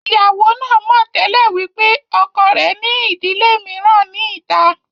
Ìyàwó náà mọ̀ tẹ́lẹ̀ wípé ọkọ rẹ̀ ní ìdílé mìíràn ní ìta